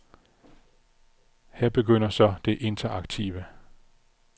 Her begynder så det interaktive.